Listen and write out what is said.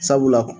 Sabula